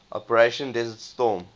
operation desert storm